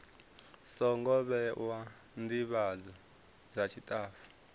songo vhewa ndivhadzo dza tshitafu